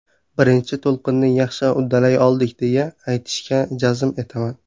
Birinchi to‘lqinni yaxshi uddalay oldik deya, aytishga jazm etaman.